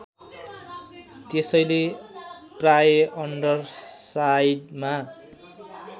त्यसैले प्राय अन्डरसाइडमा